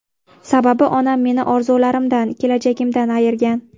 Sababi onam meni orzularimdan, kelajagimdan ayirgan.